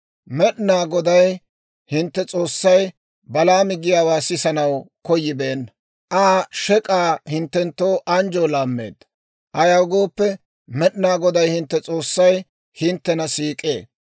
Med'inaa Goday, hintte S'oossay, Balaami giyaawaa sisanaw koyibeenna; Aa shek'k'aa hinttenttoo anjjoo laammeedda. Ayaw gooppe, Med'inaa Goday hintte S'oossay hinttena siik'ee.